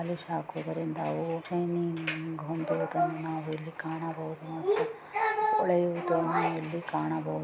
ಪೊಲೀಶಹಾಕುತಿರುವ ಕೆಲಸಗಾರನ್ನನು ಕಾಣಬಹುದು ಪೊಲೀಶಕುವರಿಂದ ಅವು ಶಿನಯಿಂಗ್ ಹೊಂದುವುದನ್ನು ನಾವು ಇಲ್ಲಿ ಕಾಣಬಹುದು.